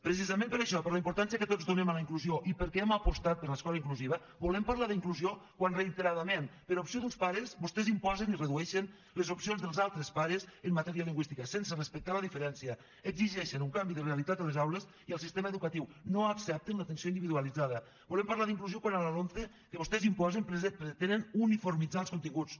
precisament per això per la importància que tots donem a la inclusió i perquè hem apostat per l’escola inclusiva volem parlar d’inclusió quan reiteradament per opció d’uns pares vostès imposen i redueixen les opcions dels altres pares en matèria lingüística sense respectar la diferència exigeixen un canvi de realitat a les aules i al sistema educatiu no accepten l’atenció individualitzada volem parlar d’inclusió quan a la lomce que vostès imposen pretenen uniformitzar els continguts